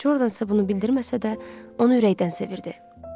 Jordan isə bunu bildirməsə də, onu ürəkdən sevirdi.